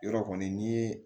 Yɔrɔ kɔni ni ye